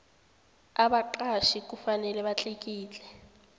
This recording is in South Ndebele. abaqatjhi kufanele batlikitle